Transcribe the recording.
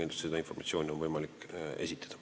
Jüri Adams.